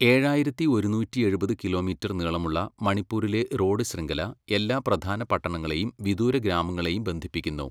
ഏഴായിരത്തി ഒരുന്നൂറ്റിയെഴുപത് കിലോമീറ്റർ നീളമുള്ള മണിപ്പൂരിലെ റോഡ് ശൃംഖല എല്ലാ പ്രധാന പട്ടണങ്ങളെയും വിദൂര ഗ്രാമങ്ങളെയും ബന്ധിപ്പിക്കുന്നു.